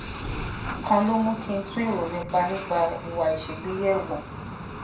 kan ló mú kí n tún èrò mi nípa ìwà àìṣègbè yè wò